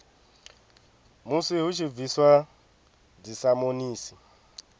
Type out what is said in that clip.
musi hu tshi bviswa dzisamonisi